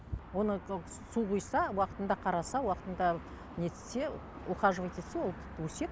оны су құйса уақытында қараса уақытында нетсе ухаживать етсе ол тіпті өседі